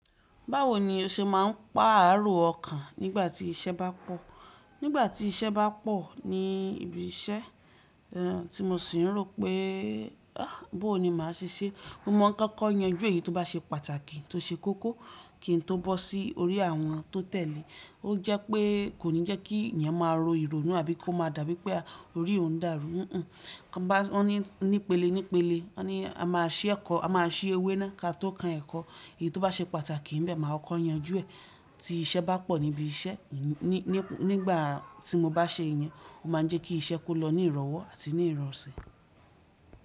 Báwo ni o ṣe máa ń pá ààrò ọkàn nígbà tí iṣẹ́ bá pọ̀? Nígbà tí iṣẹ́ bá pọ̀ ní ibi iṣẹ́, tí mo sì ń rò pé, ah bó ní màá ṣe ṣé. Mo mọ̀ ká kọ́ yanjú èyí tó bá ṣe pàtàkì tó ṣe kókó kí n tó bọ́ sí orí àwọn tó tẹ̀lé. Ó jẹ́ pé kò ní jẹ́ kí èèyàn máa ro ìrònú àbí kó máa dàbí pé orí ò ń dàrú. Kàn bá wọ́n ní, nípele nípele wọ́n ní a máa ṣí ẹ̀kọ́, a máa ṣí ewé náà ká tó kan ẹ̀kọ́. Èyí tó bá ṣe pàtàkì níbẹ̀ máa ọkọ yanjú ẹ̀. Tí iṣẹ́ bá pọ̀ níbi iṣẹ́, nígbà tí mo bá ṣe ìyẹn, ó máa ń jẹ́ kí iṣẹ́ kó lọ ní ìrọ̀wọ́ àti ní ìrọ̀sẹ̀